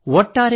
ಒಟ್ಟಾರೆ